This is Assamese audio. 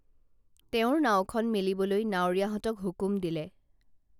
তেওঁৰ নাওখন মেলিবলৈ নাৱৰীয়াহঁতক হুকুম দিলে